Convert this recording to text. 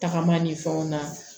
Tagama ni fɛnw na